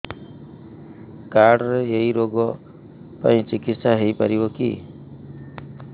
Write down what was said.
card ରେ ଏଇ ରୋଗ ପାଇଁ ଚିକିତ୍ସା ହେଇପାରିବ କି